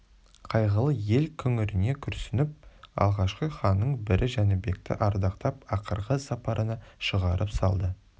қайғылы ел күңірене күрсініп алғашқы ханның бірі жәнібекті ардақтап ақырғы сапарына шығарып салды